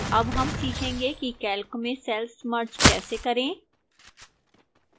अब हम सीखेंगे कि calc में cells merge कैसे करें